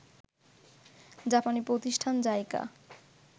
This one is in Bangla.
জাপানি প্রতিষ্ঠান জাইকা